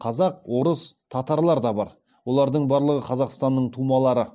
қазақ орыс татарлар да бар олардың барлығы қазақстанның тумалары